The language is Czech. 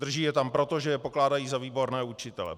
Drží je tam proto, že je pokládají za výborné učitele.